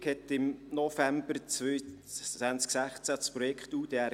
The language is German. Die Regierung startete im November 2016 mit dem Projekt UDR.